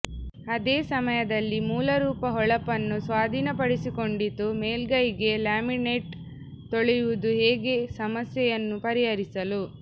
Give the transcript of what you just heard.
ಅದೇ ಸಮಯದಲ್ಲಿ ಮೂಲರೂಪ ಹೊಳಪನ್ನು ಸ್ವಾಧೀನಪಡಿಸಿಕೊಂಡಿತು ಮೇಲ್ಮೈಗೆ ಲ್ಯಾಮಿನೇಟ್ ತೊಳೆಯುವುದು ಹೇಗೆ ಸಮಸ್ಯೆಯನ್ನು ಪರಿಹರಿಸಲು